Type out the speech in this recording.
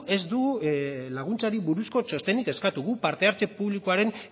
ez dugu laguntzarik buruzko txostenik eskatu guk parte hartze publikoaren